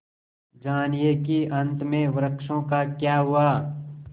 जानिए कि अंत में वृक्षों का क्या हुआ